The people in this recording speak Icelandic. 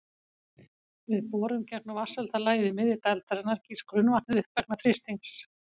Við borun gegnum vatnshelda lagið í miðju dældarinnar gýs grunnvatnið upp vegna þrýstings.